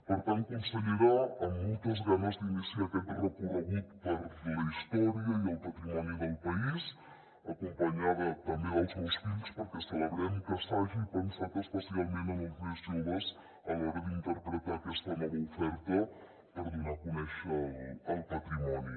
per tant consellera amb moltes ganes d’iniciar aquest recorregut per la història i el patrimoni del país acompanyada també dels meus fills perquè celebrem que s’hagi pensat especialment en els més joves a l’hora d’interpretar aquesta nova oferta per donar a conèixer el patrimoni